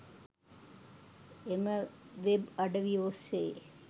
එම වෙබ් අඩවිය ඔස්සේ